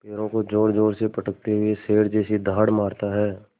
पैरों को ज़ोरज़ोर से पटकते हुए शेर जैसी दहाड़ मारता है